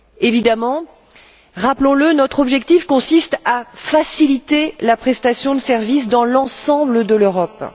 Évidemment, rappelons le, notre objectif consiste à faciliter la prestation de services dans l'ensemble de l'Europe.